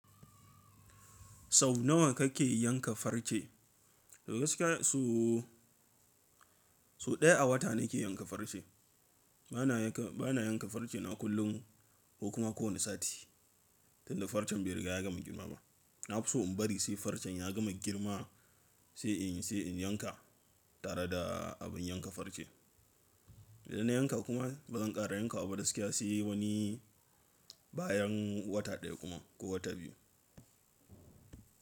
Sau nawa kake yanka farce? Da gaske so daya a wata nake yanka farce. Bana yanka farce na kullum ko kuma kowane sati. Tunda farcen bai riga ya gama girma ba. Na fi so in bari sai farcen ya gama girma sai in yanka tare da abin yanka farce. Idan na yanka kuma bazan kara yanka ba da gaske sai wani bayan wata daya kuma ko wata biyu.